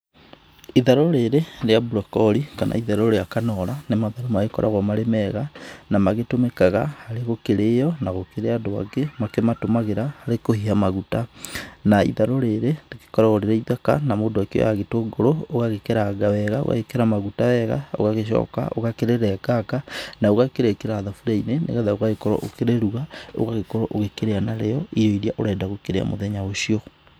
Itharũ rĩrĩ rĩa brocolli kana itharũ rĩa kanora nĩ mamwe magĩkoragwo marĩ mega na magĩtũmĩkaga harĩ gũkĩrío na kũrĩ angĩ makĩmatũmagĩra harĩ kũhiha maguta, na itharũ rĩrĩ rĩgĩkoragwo rĩrĩ ithaka na mũndũ akĩoyaga gĩtũngũrũ ũgagĩkeranga wega, ũgekĩra maguta wega ũgagĩcoka ũgakĩrenganga na ũgakĩrĩkĩra thaburia-inĩ nĩgetha ũgagĩkorwo ũkĩrĩruga ũgagĩkorwo ũkĩrĩa narĩo irio iria ũrenda kũruga nacio mũthenya ũcio